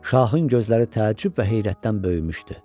Şahın gözləri təəccüb və heyrətdən böyümüşdü.